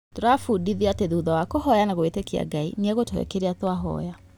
Tũrabundithio atĩ thutha wa kũhoya na gwĩtĩkia Ngai nĩegũtũhe kĩrĩa twahoya.